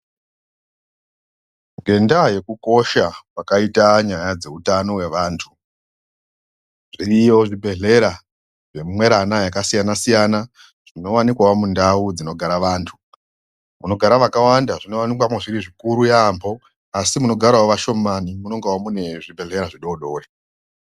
Ngenyaya yekukosha kwakaita nyaya dzehutano wevantu zviriyo zvibhedhlera zvemwerana yakasiyana siyana zvinowanikwawo mundau dzinogara antu munogara vakawanda zvinowanikwa zviri zvikuru yambo asi munogara ashomani munenge mune zvibhedhlera zvidodori.